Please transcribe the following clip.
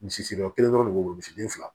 Misiri o kelen dɔrɔn de b'o misiden fila